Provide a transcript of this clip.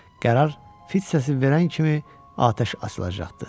Qərar fit səsi verən kimi atəş açılacaqdı.